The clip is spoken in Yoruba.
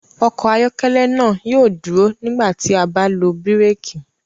Ọkọ ayọkẹlẹ naa yóò duro nigbati a ba lo biréki.